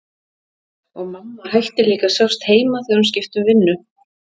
Og mamma hætti líka að sjást heima þegar hún skipti um vinnu.